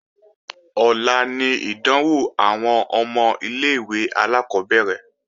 Ọ̀la ni ìdánwò àwọn ọmọ ilé-ìwé alákọ́bẹ̀rẹ̀